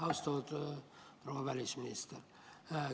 Austatud proua välisminister!